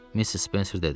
Missis Spenser dedi.